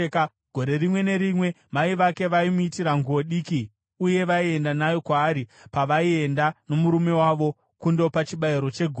Gore rimwe nerimwe, mai vake vaimuitira nguo diki uye vaienda nayo kwaari pavaienda nomurume wavo kundopa chibayiro chegore.